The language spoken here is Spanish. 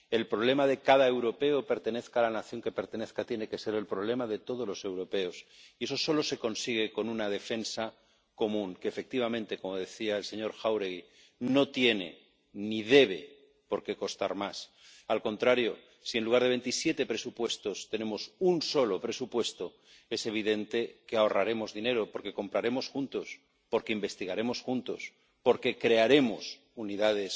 El problema de cada europeo, pertenezca a la nación que pertenezca, tiene que ser el problema de todos los europeos y eso solo se consigue con una defensa común que, efectivamente ―como decía el señor Jáuregui―, no tiene ni debe por qué costar más. Al contrario, si en lugar de veintisiete presupuestos tenemos un solo presupuesto, es evidente que ahorraremos dinero. Porque compraremos juntos, porque investigaremos juntos, porque crearemos unidades